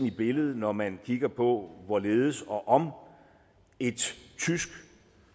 i billedet når man kigger på hvorledes og om et tysk